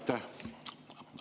Aitäh!